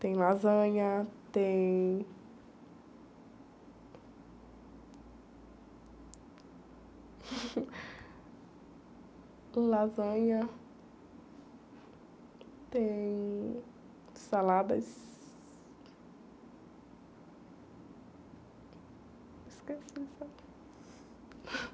Tem lasanha, tem... Lasanha... Tem... Saladas... Esqueci, sabe?